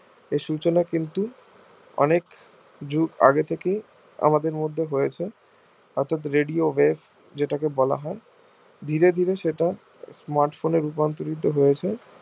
এই সূচনা কিন্তু অনেক আগে থেকেই আমাদের মধ্যে রয়েছে অর্থাৎ radio wave যেটা কে বলা হয় ধীরে ধীরে সেটা smart phone এ রূপান্তরিত হৈছে